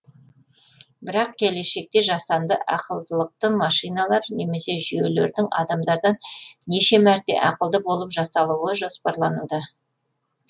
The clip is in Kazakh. бірақ келешекте жасанды ақылдылықты машиналар немесе жүйелердің адамдардан неше мәрте ақылды болып жасалуы жоспарлануда